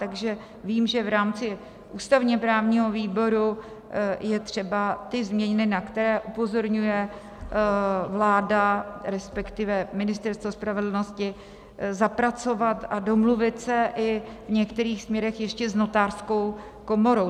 Takže vím, že v rámci ústavně-právního výboru je třeba ty změny, na které upozorňuje vláda, respektive Ministerstvo spravedlnosti, zapracovat a domluvit se i v některých směrech ještě s Notářskou komorou.